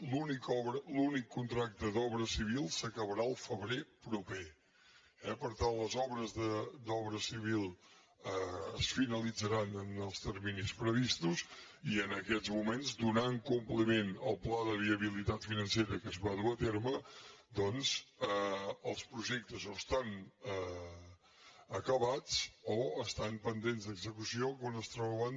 l’únic contracte d’obra civil s’acabarà el febrer proper eh per tant les obres d’obra civil es finalitzaran en els terminis previstos i en aquests moments donant compliment al pla de viabilitat financera que es va dur a terme doncs els projectes o estan acabats o estan pendents d’execució quan es troben